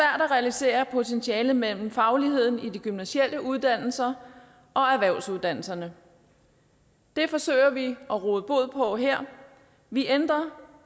at realisere potentialet mellem fagligheden i de gymnasiale uddannelser og erhvervsuddannelserne det forsøger vi at råde bod på her vi ændrer